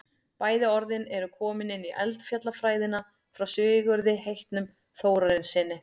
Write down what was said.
bæði orðin eru komin inn í eldfjallafræðina frá sigurði heitnum þórarinssyni